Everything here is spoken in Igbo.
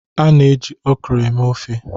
A na-eji okra eme ofe.